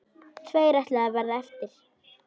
Tveir ætluðu að verða eftir.